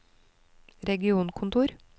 regionkontor